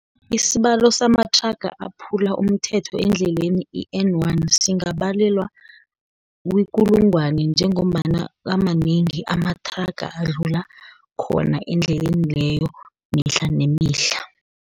Isibalo samathraga aphula umthetho endleleni i-N1, singabalelwa, kukulungwana njengombana amanengi amathraga adlula khona, endleleni leyo, mihla nemihla.